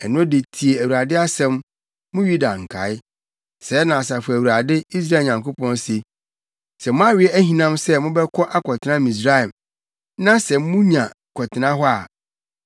ɛno de tie Awurade asɛm, mo Yuda nkae. Sɛɛ na Asafo Awurade, Israel Nyankopɔn se, ‘Sɛ moawe ahinam sɛ mobɛkɔ akɔtena Misraim, na sɛ munya kɔtena hɔ a,